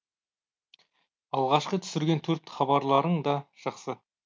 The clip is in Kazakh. алғашқы түсірген төрт хабарларың да жақсы